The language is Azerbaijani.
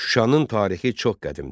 Şuşanın tarixi çox qədimdir.